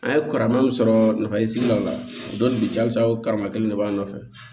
An ye karama min sɔrɔ nafa ye sigida la o don ja o karama kelen de b'an nɔfɛ